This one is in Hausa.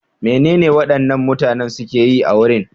Menene waɗannan mutanen suke yi a wurin?